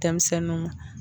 Denmisɛninw ma.